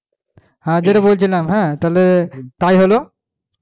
হ্যাঁ যেটা বলছিলাম হ্যাঁ তাহলে হলো